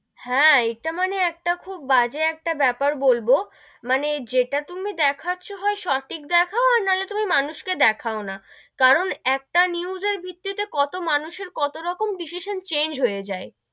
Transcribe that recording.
হেঁ, এইটা মানে খুব বাজে একটা ব্যাপার বলবো, মানে যেটা তুমি দেখাচ্ছ হয় সঠিক দেখাও নাহলে তুমি মানুষ কে দেখাও না, কারণ একটা news এর ভিত্তি তে কত মানুষ এর কতো রকম decision change হয়ে যাই,